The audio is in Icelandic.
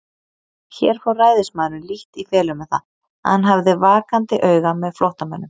Hér fór ræðismaðurinn lítt í felur með það, að hann hafði vakandi auga með flóttamönnum.